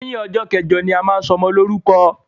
Lẹyìn ọjọ́ kẹjọ ni a máa ń ṣọmọ lórúkọ